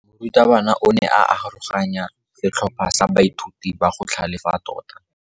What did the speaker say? Morutabana o ne a aroganya setlhopha sa baithuti ba go tlhalefa tota.